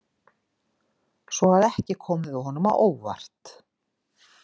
Svo að ekki komum við honum á óvart.